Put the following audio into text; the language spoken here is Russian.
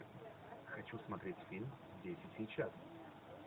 хочу смотреть фильм здесь и сейчас